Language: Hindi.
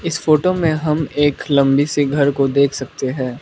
इस फोटो में हम एक लंबी से घर को देख सकते हैं।